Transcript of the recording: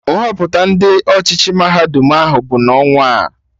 Nhọpụta Ndị ọchịchị mahadum ahụ bụ n'ọnwaa